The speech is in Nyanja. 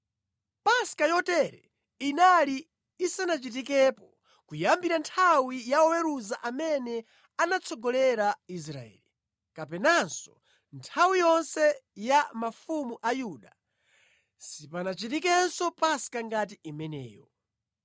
Paska yotere inali isanachitikepo kuyambira nthawi ya oweruza amene anatsogolera Israeli, kapenanso nthawi yonse ya mafumu a Yuda sipanachitikenso Paska ngati imeneyo.